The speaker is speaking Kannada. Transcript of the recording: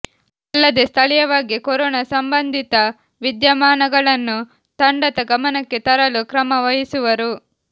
ಅಲ್ಲದೇ ಸ್ಥಳೀಯವಾಗಿ ಕೊರೋನಾ ಸಂಬಂಧಿತ ವಿದ್ಯಮಾನಗಳನ್ನು ತಂಡದ ಗಮನಕ್ಕೆ ತರಲು ಕ್ರಮ ವಹಿಸುವರು